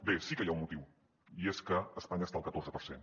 bé sí que hi ha un motiu i és que espanya està al catorze per cent